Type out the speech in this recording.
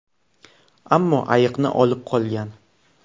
Ammo ayiqni olib qolgan.